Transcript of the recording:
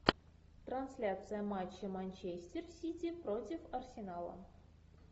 трансляция матча манчестер сити против арсенала